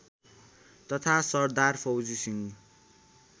तथा सरदार फौजी सिंह